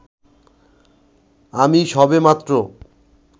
আমি সবেমাত্র